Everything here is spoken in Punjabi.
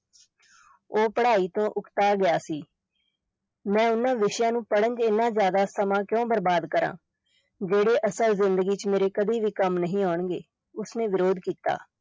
ਉਹ ਪੜ੍ਹਾਈ ਤੋਂ ਉਕਤਾ ਗਿਆ ਸੀ ਮੈਂ ਉਨ੍ਹਾਂ ਵਿਸ਼ਿਆਂ ਨੂੰ ਪੜ੍ਹਨ ਵਿਚ ਇੰਨਾਂ ਜਿਆਦਾ ਸਮਾਂ ਕਿਉਂ ਬਰਬਾਦ ਕਰਾਂ, ਜਿਹੜੇ ਅਸਲ ਜਿੰਦਗੀ ਵਿਚ ਮੇਰੇ ਕਦੇ ਵੀ ਕੰਮ ਨਹੀਂ ਆਉਣਗੇ, ਉਸ ਨੇ ਵਿਰੋਧ ਕੀਤਾ।